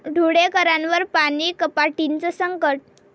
धुळेकरांवर पाणी कपातीचं संकट